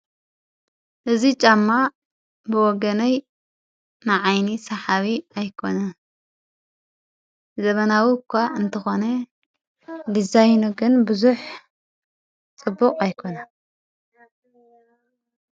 እዙ ጫማ ብወገነይ ንዓይኒ ሰሓቢ ኣይኮነ ዘበናዊ እኳ እንተኾነ ዲዛይኖ ግን ብዙኅ ጽቡቕ ኣይኮነን።